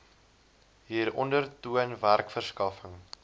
hieronder toon werkverskaffing